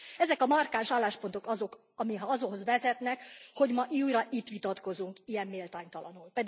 Ezek a markáns álláspontok azok, amik ahhoz vezetnek, hogy ma újra itt vitatkozunk ilyen méltánytalanul.